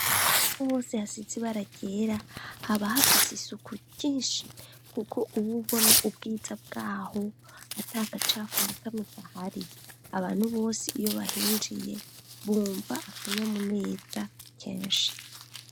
Ahantu bose hasitsi barakera haba hafise isuku cyinshi kuko uw ubona ubwitsa bwaho atakacafu na kame kahari abantu bose iyo bahinjiye bumva akanyamuneza kenshi.